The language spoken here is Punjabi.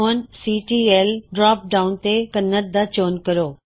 ਹੁਣ ਸੀਟੀਐਲ ਡਰੌਪ ਡਾਉਨ ਤੋਂ ਕੰਨੜ ਦਾ ਚੋਣ ਕਰੋ